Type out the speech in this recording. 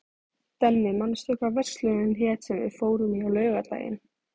Denni, manstu hvað verslunin hét sem við fórum í á laugardaginn?